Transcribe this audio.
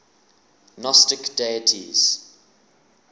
gnostic deities